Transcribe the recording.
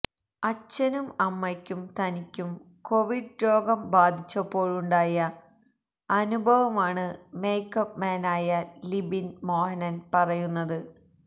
അച്ഛനും അമ്മയ്ക്കും തനിക്കും കൊവിഡ് രോഗം ബാധിച്ചപ്പോഴുണ്ടായ അനുഭവം ആണ് മേക്കപ്പ് മാന് ആയ ലിബിൻ മോഹനൻ പറയുന്നത്